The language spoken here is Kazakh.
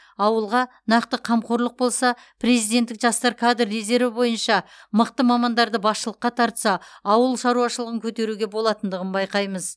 ауылға нақты қамқорлық болса президенттік жастар кадр резерві бойынша мықты мамандарды басшылыққа тартса ауыл шаруашылығын көтеруге болатындығын байқаймыз